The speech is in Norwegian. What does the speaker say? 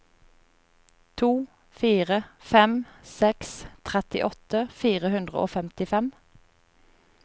to fire fem seks trettiåtte fire hundre og femtifem